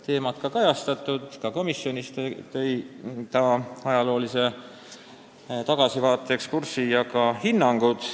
Ta tegi ka komisjonis ajaloolise tagasivaatena sisulise ekskursi ja andis ka hinnanguid.